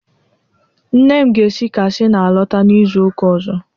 Nne m ga-esi Katsịna alọta n'izu ụka ọzọ.